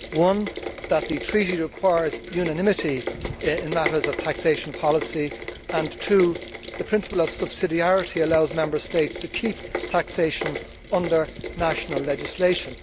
One the Treaty requires unanimity in matters of taxation policy, and two the principle of subsidiarity allows Member States to keep taxation within national legislation.